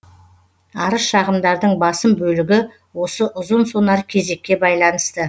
арыз шағымдардың басым бөлігі осы ұзын сонар кезекке байланысты